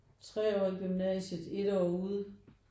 3 år i gymnasiet 1 år ude